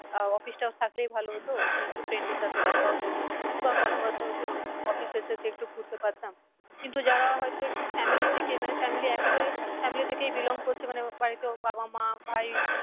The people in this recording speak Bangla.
আহ office টা থাকলেই ভালো হতো ওখানে একটু friend এর সাথে দেখা হতো বা কথা বার্তা হতো। office এর শেষে একটু ঘুরতে পারতাম। কিন্তু যারা হয় তো একটু family থেকে মানে family একে বারে family থেকেই belong করছে মানে বাড়িতে ওর বাবা মা ভাই